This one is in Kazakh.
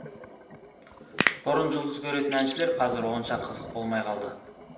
бұрын жұлдыз көретін әншілер қазір онша қызық болмай қалды